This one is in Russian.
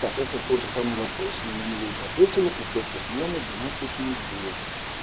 так это тот же самый вопрос мы на него уже ответили пациентка с миомой двенадцать недель